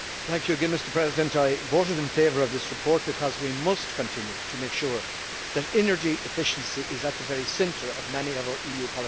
Mr President, I voted in favour of this report because we must continue to make sure that energy efficiency is at the very centre of many of our EU policies.